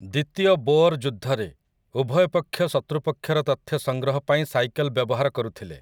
ଦ୍ୱିତୀୟ ବୋଅର୍ ଯୁଦ୍ଧରେ, ଉଭୟ ପକ୍ଷ ଶତୃପକ୍ଷର ତଥ୍ୟ ସଂଗ୍ରହ ପାଇଁ ସାଇକେଲ୍ ବ୍ୟବହାର କରୁଥିଲେ ।